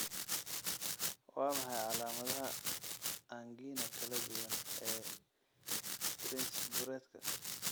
Waa maxay calaamadaha angina kala duwan ee Prinzburedka?